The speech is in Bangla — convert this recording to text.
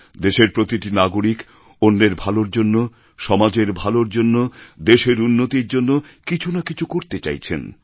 দেশের প্রতিটি নাগরিক অন্যের ভালোর জন্য সমাজের ভালোর জন্য দেশের উন্নতির জন্য কিছু না কিছু করতে চাইছেন